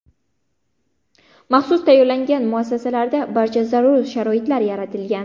Maxsus tayyorlangan muassasalarda barcha zarur sharoitlar yaratilgan.